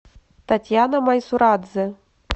татьяна майсурадзе